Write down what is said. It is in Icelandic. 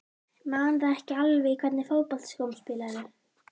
Man það ekki alveg Í hvernig fótboltaskóm spilar þú?